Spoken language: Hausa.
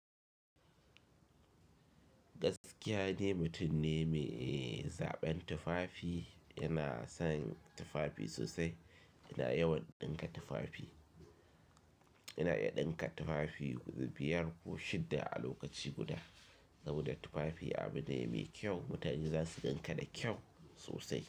Gaskiya de mutum ne mai zaɓen tufafi yana son tufafi sosai, yana yawan ɗinka tufafi. Yana iya ɗinka tufafi guda biyar ko shidda a lokaci guda. Saboda tufafi abu ne mai kyau, mutane za su gan ka da kyau sosai.